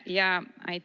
Tere!